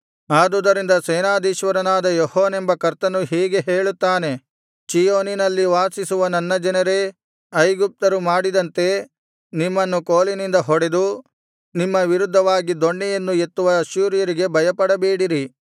ಆದುದರಿಂದ ಸೇನಾಧೀಶ್ವರನಾದ ಯೆಹೋವನೆಂಬ ಕರ್ತನು ಹೀಗೆ ಹೇಳುತ್ತಾನೆ ಚೀಯೋನಿನಲ್ಲಿ ವಾಸಿಸುವ ನನ್ನ ಜನರೇ ಐಗುಪ್ತರು ಮಾಡಿದಂತೆ ನಿಮ್ಮನ್ನು ಕೋಲಿನಿಂದ ಹೊಡೆದು ನಿಮ್ಮ ವಿರುದ್ಧವಾಗಿ ದೊಣ್ಣೆಯನ್ನು ಎತ್ತುವ ಅಶ್ಶೂರರಿಗೆ ಭಯಪಡಬೇಡಿರಿ